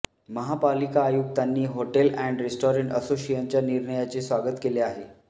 महापालिका आयुक्तांनी hotel and restaurant असोसिएशनच्या निर्णयाचे स्वागत केले आहे